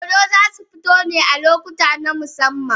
Dodo zai su fito ne a lokuta na musamman.